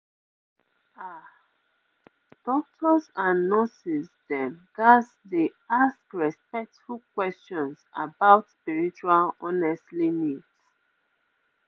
ah doctors and nurses dem ghats dey ask respectful questions about spiritual honestly needs